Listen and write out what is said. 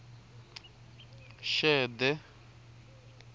xede